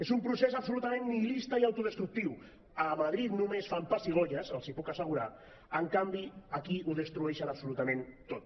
és un procés absolutament nihilista i autodestructiu a madrid només fan pessigolles els hi puc assegurar en canvi aquí ho destrueixen absolutament tot